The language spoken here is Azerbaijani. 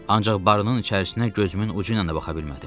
Ancaq barının içərisinə gözümün ucuyla da baxa bilmədim.